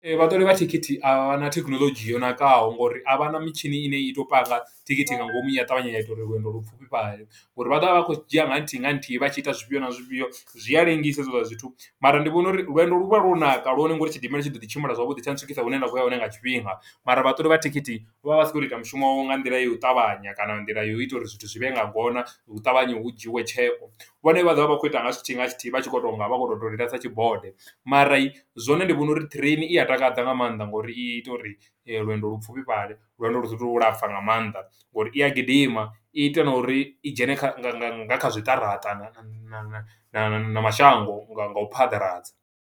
Vhaṱoli vha thikhithi a vha na thekhinoḽodzhi yo ṋakaho, ngo uri a vha na mitshini ine i tou panga thikhithi nga ngomu, ya ṱavhanya ya ita uri lwendo lwo pfufhifhale, ngo uri vha ḓo vha vha khou dzhia nga nthihi nga nthihi vha tshi ita zwifhio na zwifhio, zwi a lengisa hezwiḽa zwithu. Mara ndi vhona uri lwendo lu vha lwo naka lwone, ngo uri tshidimela tshi ḓo ḓi tshimbila zwavhuḓi, tsha ntswikisa hune nda khou ya hone nga tshifhinga. Mara vhaṱoli vha thikhithi, vha vha vha si khou to ita mushumo nga nḓila ya u ṱavhanya, kana nga nḓila yo ita uri zwithu zwi vhe nga ngona, hu ṱavhanya hu dzhiiwe tsheo. Vhone vha ḓo vha vha kho ita nga tshithihi nga tshithihi, vha tshi khou to nga vha kho to dodela sa tshibode. Mara zwone ndi vhona uri ṱireini i a a takadza nga maanḓa, ngo uri i ita uri lwendo lu pfufhifhale, lwendo lu sa tu lapfu nga maanḓa, ngo uri i ya gidima, i ita na uri i dzhene kha nga kha zwiṱaraṱa, na na na mashango nga nga u phaḓaladza.